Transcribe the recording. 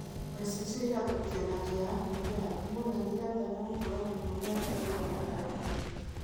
Mbeca icio ithamĩrĩkĩte na njĩra ya kũhũthĩra thimũ na nĩ ĩratanya gũkũra mũno mĩaka ĩigana ũna ĩrĩa ĩroka.